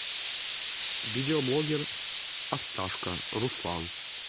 видеоблогер осташко руслан